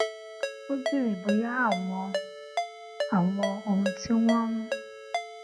ó béèrè bóyá àwọn àwọn ohun tí wón ń